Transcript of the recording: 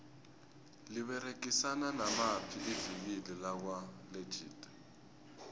liberegisana namaphi ivikile lakwa legit